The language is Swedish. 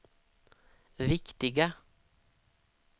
viktiga